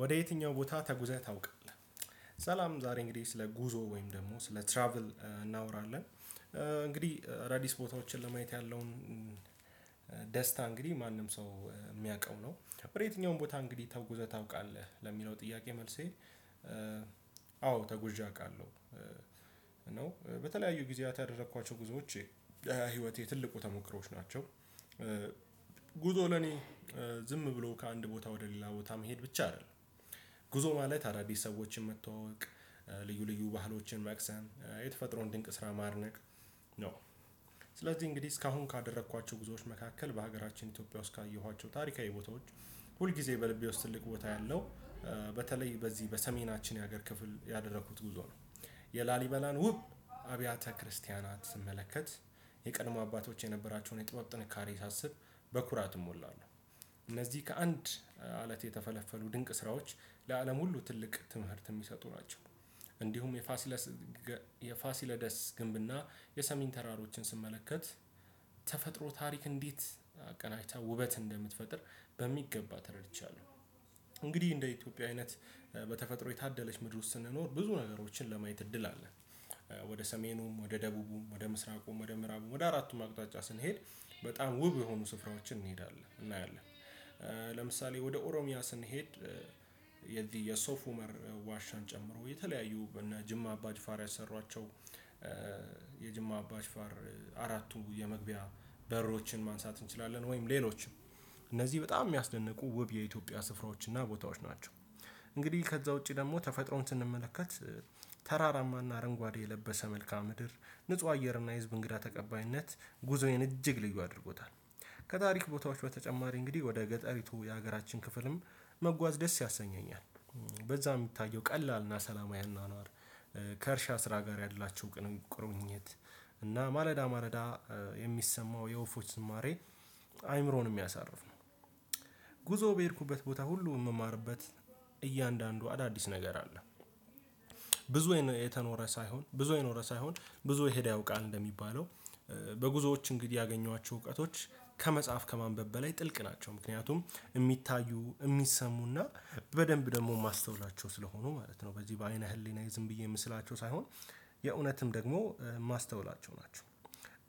ወደ የትኛው ቦታ ተጉዘህ ታውቃለህ? ሰላም ዛሬ እንግዲህ ስለ ጉዞ ወይም ደግሞ ስለ ትራቭል እናወራለን። አዳዲስ ቦታዎችን ለማየት ያለውን ደስታ እንግዲህ ማንም ሰው የሚያውቀው ነው በረተኛውም ቦታ እንግዲህ ተጉዘህ ታውቃለህ ለሚለው ጥያቄ መልሴ አዎ ተጉዣ አውቃለሁ ነው በተለያዩ ጊዜያት ያደረኳቸው ጉዞዎቼ ህይወቴ ትልቁ ተሞክሮዎች ናቸው። ጉዞ ለኔ ዝም ብሎ ከአንድ ቦታ ወደ ሌላ ቦታ መሄድ ብቻ አይደለም ጉዞ ማለት አዳዲስ ሰዎችን መተዋወቅ ልዩ ልዩ ባህሎችን ማክሰን የተፈጥሮ ድንቅ ስራ ማነቅ ነው። ስለዚህ እንግዲህ እስካሁን ካደረኳቸው ጉዞዎች መካከል በሀገራችን ኢትዮጵያ ውስጥ ካየኋቸው ታሪካዊ ቦታዎች ሁል ጊዜ በልቤ ውስጥ ትልቅ ቦታ ያለው በተለይ በዚህ በሰሜናችን የሀገር ክፍል ያደረኩት ጉዞ ነው። የላሊበላን ውብ አብያተ ክርስቲያናት ስመለከት የቀድሞ አባቶች የነበራቸውን የጥበብ ጥንካሬ ሳስብ በኩራት እሞላለሁ። እነዚህ ከአንድ አለት የተፈለፈሉ ድንቅ ስራዎች ለአለም ሁሉ ትልቅ ትምህርት የሚሰጡ ናቸው። እንዲሁም የፋሲለደስ የፋሲለደስ ግንብና የሰሚን ተራሮችን ስመለከት ተፈጥሮ ታሪክ እንዴት አቀናጅታ ውበት እንደምትፈጥር በሚገባ ተረድቻለሁ። እንግዲህ እንደ ኢትዮጵያ አይነት በተፈጥሮ የታደለች ምድር ውስጥ ስንኖር ብዙ ነገሮችን ለማየት እድል አለ። ወደ ሰሜኑም ወደ ደቡቡም ወደ ምስራቁም ወደ ምዕራቡም ወደ አራቱም አቅጣጫ ስንሄድ በጣም ውብ የሆኑ ስፍራዎችን እንሄዳለን እናያለን። ለምሳሌ ወደ ኦሮሚያ ስንሄድ የዚህ ሶፎመር ዋሻ ጨምሮ የተለያዩ እና ጅማ አባ ጅፋር ያሰሯቸው የጅማ አባ ፋር አራቱን የመግቢያ በሮችን ማንሳት እንችላለን ወይም ሌሎችን እነዚህ በጣም የሚያስደንቁ ውብ የኢትዮጵያ ስፍራዎች እና ቦታዎች ናቸው። እንግዲህ ከዛ ውጪ ደግሞ ተፈጥሮን ስንመለከት ተራራማና አረንጓዴ የለበሰ መልካም ምድር ንጹህ አየርና ህዝብ እንግዳ ተቀባይነት ጉዞዬን እጅግ ልዩ አድርጎታል። ከታሪክ ቦታዎች በተጨማሪ እንግዲህ ወደ ገጠሪቱ የሀገራችን ክፍልም መጓዝ ደስ ያሰኘኛል በዛ የሚታየው ቀላልና ሰላማዊ አኗኗር ከእርሻ ስራ ጋር ያላቸው ቁርኝት እና ማለዳ የሚሰማው የወፎች ዝማሬ አይምሮን የሚያሳርፍ ነው። ጉዞ በሄድኩበት ቦታ ሁሉ የምማርበት እያንዳንዱ አዳዲስ ነገር አለ። ብዙ የተኖረ ሳይሆን ብዙ የኖረ ሳይሆን ብዙ የሄደ ያውቃል እንደሚባለው በጉዞዎች እንግዲህ ያገኟቸው እውቀቶች ከመጽሐፍ ከማንበብ በላይ ጥልቅ ናቸው። ምክንያቱም የሚታዩ የሚሰሙና በደንብ ደግሞ የማስተውላቸው ስለሆኑ ማለት ነው በዚህ በአይነ ህሊና ዝም ብዬ የምስላቸው ሳይሆን የእውነትም ደግሞ የማስተውላቸው ናቸው።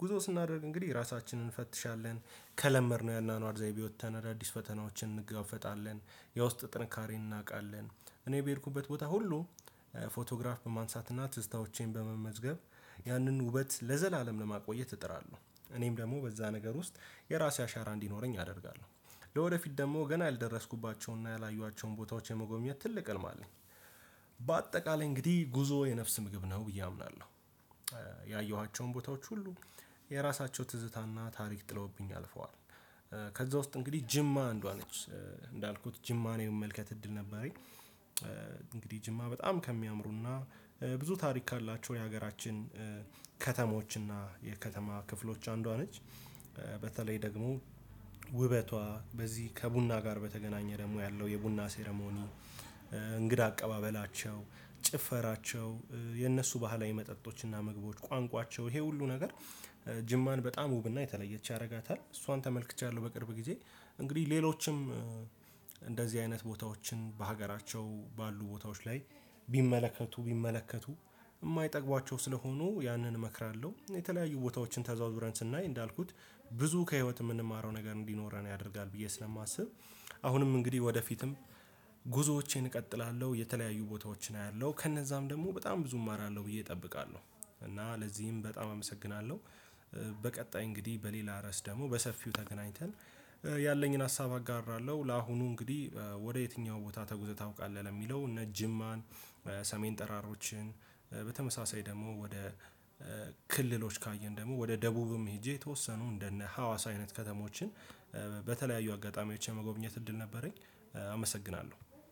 ጉዞ ስናደርግ እንግዲህ ራሳችንን እንፈትሻለን ከለመድነው ያንን አድዛይ ቢወጣ አዳዲስ ፈተናዎችን እንጋፈጣለን የውስጥ ጥንካሬን እናውቃለን እኔ በሄድኩበት ቦታ ሁሉ ፎቶግራፍ በማንሳት እና ትዝታዎቼን በመመዝገብ ያንን ውበት ለዘላለም ለማቆየት እጥራለሁ። እኔም ደግሞ በዛ ነገር ውስጥ የራሴ አሻራ እንዲኖረኝ አደርጋለሁ ለወደፊት ደግሞ ገና ያልደረስኩባቸውና ያላዩአቸውን ቦታዎች የመጎብኘት ትልቅ ህልም አለኝ። በአጠቃላይ እንግዲህ ጉዞ የነፍስ ምግብ ነው ብዬ አምናለሁ። ያየኋቸውን ቦታዎች ሁሉ የራሳቸው ትዝታና ታሪክ ጥለውብኝ አልፈዋል። ከዛ ውስጥ እንግዲህ ጅማ አንዷ ነች ጅማን የመመልከት እድል ነበረኝ እንግዲህ ጅማ በጣም ከሚያምሩና ብዙ ታሪክ ካላቸው የሀገራችን ከተሞች እና የከተማ ክፍሎች አንዷ ነች። በተለይ ደግሞ ውበቷ በዚህ ከቡና ጋር በተገናኘ ደግሞ ያለው የቡና ሴረሞኒ እንግዳ አቀባበላቸው ጭፈራቸው የነሱ ባህላዊ መጠጦችና መግባቶች ቋንቋቸው ይሄ ሁሉ ነገር ጅማን በጣም ውብና የተለየች ያደርጋታል እሷን ተመልክቻለሁ በቅርብ ጊዜ። እንግዲህ ሌሎችም አይነት ቦታዎችን በሀገራቸው ባሉ ቦታዎች ላይ ቢመለከቱ ቢመለከቱ ስለሆኑ ያንን እመክራለሁ የተለያዩ ቦታዎችን ተዘውዝረን ስናይ እንዳልኩት ብዙ ከህይወት የምንማረው ነገር እንዲኖረን ያደርጋል ብዬ ስለማስብ አሁንም እንግዲህ ወደፊትም ጉዞዎቼን እቀጥላለሁ የተለያዩ ቦታዎችን አያለሁ ከነዛም ደግሞ በጣም ብዙም አራለሁ ብዬ እጠብቃለሁ። እና ለዚህም በጣም አመሰግናለሁ። በቀጣይ እንግዲህ በሌላ ረእስ ደግሞ በሰፊው ተገናኝተን ያለኝን ሀሳብ አጋራለሁ ለአሁኑ እንግዲህ ወደ የትኛው ቦታ ተጉዘህ ታውቃለህ? ለሚለው ነጅማን ሰሜን ጠራሮችን በተመሳሳይ ደግሞ ወደ ክልሎች ካየን ደግሞ ወደ ደቡብም ሄጄ የተወሰኑ እንደነ ሀዋስ አይነት ከተሞችን በተለያዩ አጋጣሚዎች የመጎብኘት እድል ነበረኝ። አመሰግናለሁ።